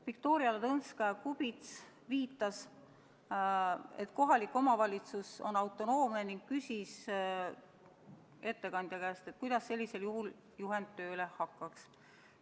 Viktoria Ladõnskaja-Kubits viitas asjaolule, et kohalik omavalitsus on autonoomne, ning küsis ettekandja käest, kuidas sellisel juhul juhend tööle hakkaks.